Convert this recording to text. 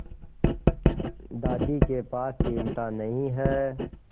दादी के पास चिमटा नहीं है